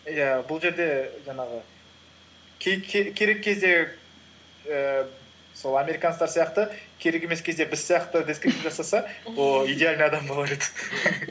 иә бұл жерде жаңағы керек кезде ііі сол американецтер сияқты керек емес кезде біз сияқты жасаса ол идеальный адам болар еді